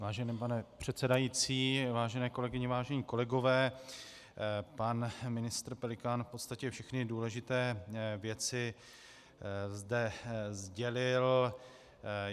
Vážený pane předsedající, vážené kolegyně, vážení kolegové, pan ministr Pelikán v podstatě všechny důležité věci zde sdělil.